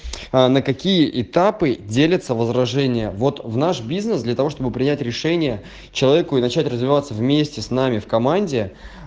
а на какие этапы делится возражение вот в наш бизнес для того чтобы принять решение человеку и начать развиваться вместе с нами в команде